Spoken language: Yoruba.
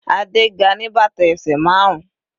Adé ga ní bàtà ẹsẹ̀ márun.